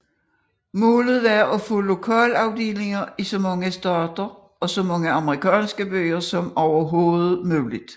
Målet var at få lokalafdelinger i så mange stater og så mange amerikanske byer som overhovedet muligt